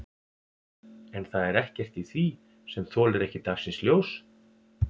En það er ekkert í því sem þolir ekki dagsins ljós?